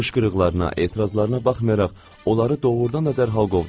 Qışqırıqlarına, etirazlarına baxmayaraq, onları doğrudan da dərhal qovdular.